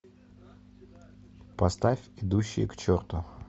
поставь идущие к черту